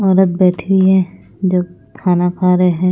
औरत बैठी हुई है जो खाना खा रहे हैं।